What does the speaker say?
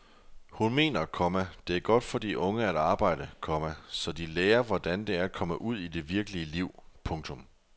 Hun mener, komma det er godt for de unge at arbejde, komma så de lærer hvordan det er at komme ud i det virkelige liv. punktum